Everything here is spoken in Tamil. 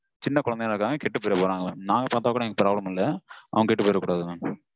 சின்ன குழந்தைங்கலாம் இருக்காங்க, கெட்டு போயிரப்போறாங்க. நாங்க பாத்தா கூட எனக்கு problem இல்ல. அவங்க கெட்டு போயிரகூடாது mam